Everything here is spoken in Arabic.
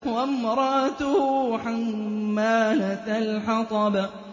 وَامْرَأَتُهُ حَمَّالَةَ الْحَطَبِ